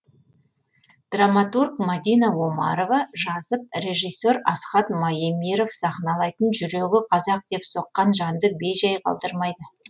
драматург мадина омарова жазып режиссер асхат маемиров сахналайтын жүрегі қазақ деп соққан жанды бей жай қалдырмайды